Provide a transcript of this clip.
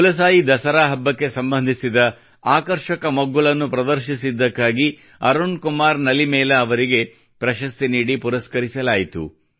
ಕುಲಸಾಯಿ ದಸರಾ ಹಬ್ಬಕ್ಕೆ ಸಂಬಂಧಿಸಿದ ಆಕರ್ಷಕ ಮಗ್ಗುಲನ್ನು ಪ್ರದರ್ಶಿಸಿದ್ದಕ್ಕಾಗಿ ಅರುಣ್ ಕುಮಾರ್ ನಲಿಮೇಲ ಅವರಿಗೆ ಪ್ರಶಸ್ತಿ ನೀಡಿ ಪುರಸ್ಕರಿಸಲಾಯಿತು